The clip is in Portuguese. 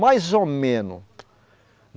Mais ou menos.